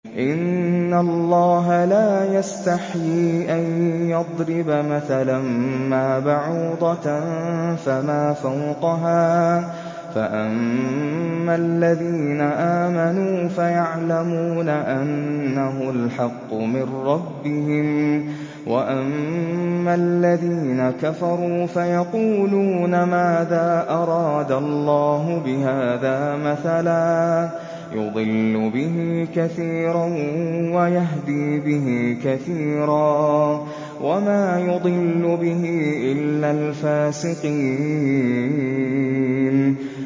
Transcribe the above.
۞ إِنَّ اللَّهَ لَا يَسْتَحْيِي أَن يَضْرِبَ مَثَلًا مَّا بَعُوضَةً فَمَا فَوْقَهَا ۚ فَأَمَّا الَّذِينَ آمَنُوا فَيَعْلَمُونَ أَنَّهُ الْحَقُّ مِن رَّبِّهِمْ ۖ وَأَمَّا الَّذِينَ كَفَرُوا فَيَقُولُونَ مَاذَا أَرَادَ اللَّهُ بِهَٰذَا مَثَلًا ۘ يُضِلُّ بِهِ كَثِيرًا وَيَهْدِي بِهِ كَثِيرًا ۚ وَمَا يُضِلُّ بِهِ إِلَّا الْفَاسِقِينَ